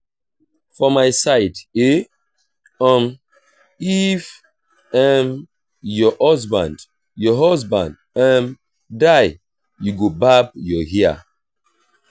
for my side eh um if um your husband your husband um die you go barb your hair